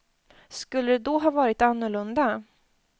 Skulle det då ha varit annorlunda?